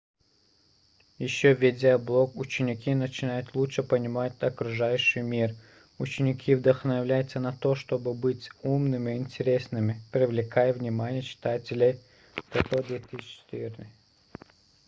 еще ведя блог ученики начинают лучше понимать окружающий мир". ученики вдохновляются на то чтобы быть умными и интересными привлекая внимание читателей тото 2004